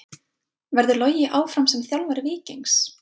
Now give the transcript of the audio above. Verður Logi áfram sem þjálfari Víkings?